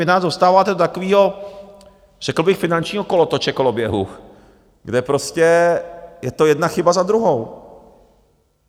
Vy nás dostáváte do takového, řekl bych, finančního kolotoče, koloběhu, kde prostě je to jedna chyba za druhou!